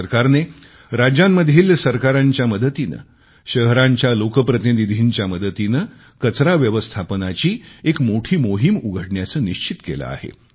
भारत सरकारने राज्यांतील सरकारांच्या मदतीने शहरांच्या लोकप्रतिनिधींच्या मदतीने कचरा व्यवस्थापनाची एक मोठी मोहीम उघडण्याचे निश्चित केले आहे